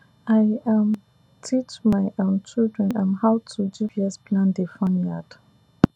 i um teach my um children um how to gps plan the farm yard